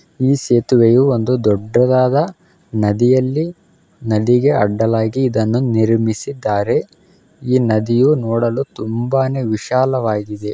ಈ ಸೇತುವೆಯು ಒಂದು ದೊಡ್ಡದಾದ ನದಿಯಲ್ಲಿ ನದಿಗೆ ಅಡ್ಡಲಾಗಿ ಇದನ್ನು ನಿರ್ಮಿಸಿದ್ದಾರೆ ಈ ನದಿಯು ನೋಡಲು ತುಂಬಾನೆ ವಿಶಾಲವಾಗಿದೆ.